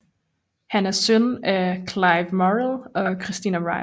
Han er søn af Clive Morrell og Christina Ryle